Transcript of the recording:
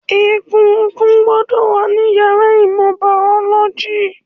Egungun gbọ́dọ̀ wà ní yàrá ìmọ̀ bàọ́lọ́jì